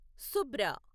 Subra